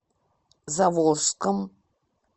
заволжском